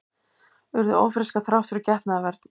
Urðu ófrískar þrátt fyrir getnaðarvörn